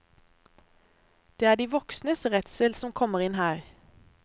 Det er de voksnes redsel som kommer inn her.